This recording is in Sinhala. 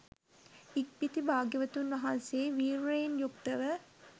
ඉක්බිති භාග්‍යවතුන් වහන්සේ වීර්යයෙන් යුක්ත ව